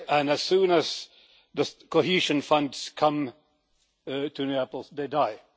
As soon as the cohesion funds come to Naples, they die.